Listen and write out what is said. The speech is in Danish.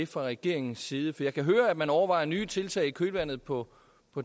fra regeringens side for jeg kan høre at man overvejer nye tiltag i kølvandet på